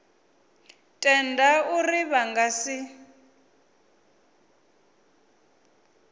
tenda uri vha nga si